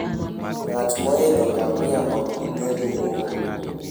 Ng'at moidho ngamia ok bi bedo mool.